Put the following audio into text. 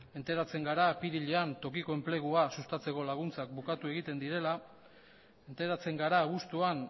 enteratzen gara apirilean tokiko enplegua sustatzeko laguntzak bukatu egiten direla enteratzen gara abuztuan